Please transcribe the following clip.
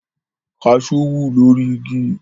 Kaṣú wù lórí igi